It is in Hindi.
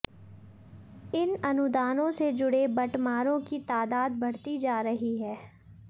इन अनुदानों से जुड़े बटमारों की तादाद बढ़ती जा रही है